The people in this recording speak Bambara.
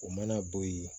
O mana bɔ yen